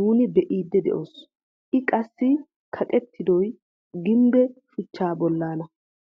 nuuni bee'idi de'oos. i qassi kaqettidooy gimbbe shuchchaa boollaana.